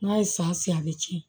N'a ye san sen a bɛ cɛn